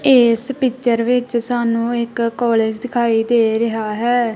ਇੱਸ ਪਿਕਚਰ ਵਿੱਚ ਸਾਨੂੰ ਇੱਕ ਕਾਲੇਜ ਦਿਖਾਈ ਦੇ ਰਿਹਾ ਹੈ।